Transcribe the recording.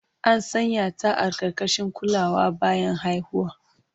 An sanya ta a ƙarƙashin kulawa bayan haihuwa.